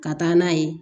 Ka taa n'a ye